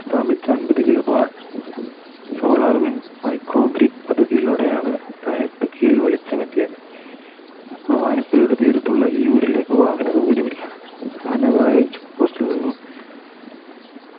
സ്ഥാപിച്ച അൻപത് Kilowatt solar win micro grid പദ്ധതിയിലൂടെയാണ് ൽ വെളിച്ചംത്തിയത്ത് ഭവാനിപ്പുഴയുടെ തീരത്തുള്ള ഈ ഊരിലേക്ക് വാഹന സൗകര്യമില്ല ആനവായി Check post ൽ നിന്നും